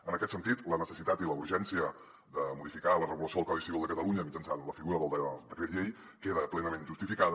en aquest sentit la necessitat i la urgència de modificar la regulació del codi civil de catalunya mitjançant la figura del decret llei queda plenament justificada